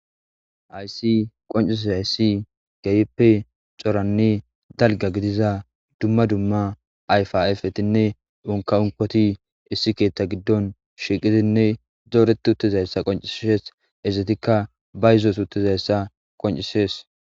Haysi qonccisizayssi keehippe coranne dalgga gidiza dumma dumma ayfa ayfetinne unka unkoti issi keetta giddon shiiqidinne dooreti uttizayssa qonccises ezetikka bayizos uttizayssa qonccises.